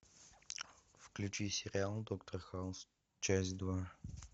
включи сериал доктор хаус часть два